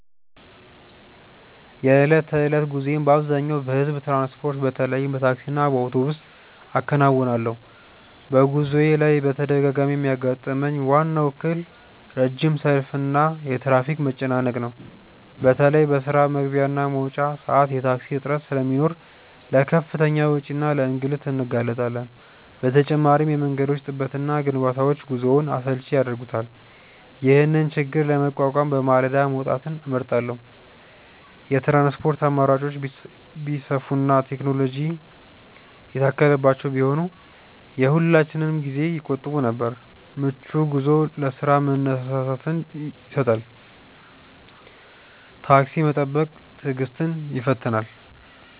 የዕለት ተዕለት ጉዞዬን በአብዛኛው በሕዝብ ትራንስፖርት፣ በተለይም በታክሲና በአውቶቡስ አከናውናለሁ። በጉዞዬ ላይ በተደጋጋሚ የሚያጋጥመኝ ዋናው እክል ረጅም ሰልፍና የትራፊክ መጨናነቅ ነው። በተለይ በስራ መግቢያና መውጫ ሰዓት የታክሲ እጥረት ስለሚኖር ለከፍተኛ ወጪና ለእንግልት እንጋለጣለን። በተጨማሪም የመንገዶች ጥበትና ግንባታዎች ጉዞውን አሰልቺ ያደርጉታል። ይህንን ችግር ለመቋቋም በማለዳ መውጣትን እመርጣለሁ። የትራንስፖርት አማራጮች ቢሰፉና ቴክኖሎጂ የታከለባቸው ቢሆኑ የሁላችንንም ጊዜ ይቆጥቡ ነበር። ምቹ ጉዞ ለስራ መነሳሳትን ይሰጣል። ታክሲ መጠበቅ ትዕግስትን ይፈትናል።